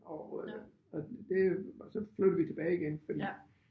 Og øh og det og så flyttede vi tilbage igen fordi